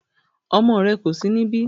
Ọmọ rẹ ko sí níbi